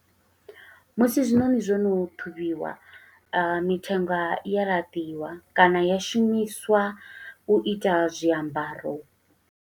Musi zwiṋoṋi zwono ṱhuvhiwa, mithenga i ya laṱiwa, kana ya shumiswa u ita zwiambaro.